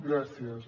gràcies